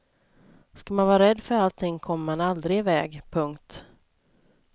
Ska man vara rädd för allting kommer man aldrig i väg. punkt